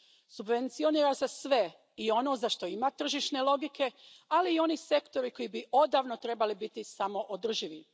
Subvencionira se sve, i ono za što ima tržišne logike, ali i oni sektori koji bi odavno trebali biti samoodrživi.